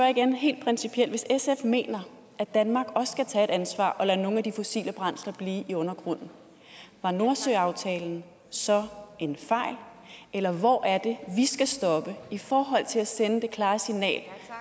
igen helt principielt hvis sf mener at danmark også skal tage et ansvar og lade nogle af de fossile brændsler blive i undergrunden var nordsøaftalen så en fejl eller hvor er det vi skal stoppe i forhold til at sende det klare signal